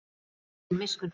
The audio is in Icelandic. Það er engin miskunn þarna.